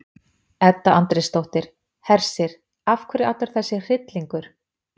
Edda Andrésdóttir: Hersir, af hverju allur þessi hryllingur?